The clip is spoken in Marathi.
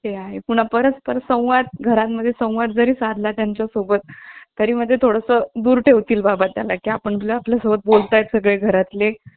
आणि वरती जाऊन madam कडे सांगायचे कि ma'am ~ madam मला आहे ना हे लोक याच्यासाठी कबड्डी खेळायला बोलवतात. अं कबड्डी खेळायला बोलावतील आणि मग मारतील. मग madam तशा तेव्हा ओरडायच्या.